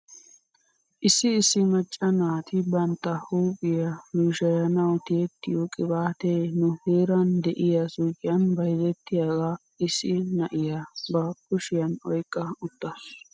Issi issi macca naati bantta huuphphiyaa luushayanaw tiyettiyoo qibaatee nu heeran de'iyaa suyqiyan bayzettiyaagaa issi na'iyaa ba kushiyan oyqqa uttaasu.